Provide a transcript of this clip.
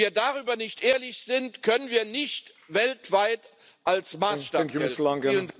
Wenn wir darüber nicht ehrlich sind, können wir nicht weltweit als Maßstab gelten.